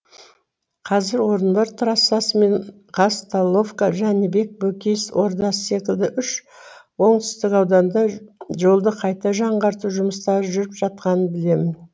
қазір орынбор трассасы мен казталовка жәнібек бөкей ордасы секілді үш оңтүстік ауданда жолды қайта жаңғырту жұмыстары жүріп жатқанын білемін